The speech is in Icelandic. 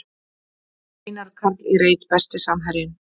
Einar Karl í reit Besti samherjinn?